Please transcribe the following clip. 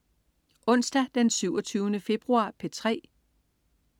Onsdag den 27. februar - P3: